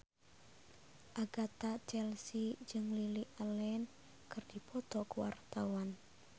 Agatha Chelsea jeung Lily Allen keur dipoto ku wartawan